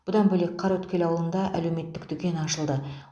бұдан бөлек қараөткел ауылында әлеуметтік дүкен ашылды